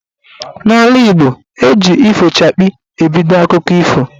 N'ala Igbo, eji "ifochakpi" ebido akụkọ ife.